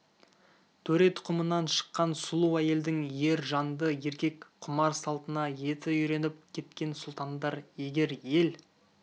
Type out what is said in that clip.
төре тұқымынан шыққан сұлу әйелдің ер жанды еркек құмар салтына еті үйреніп кеткен сұлтандар егер ел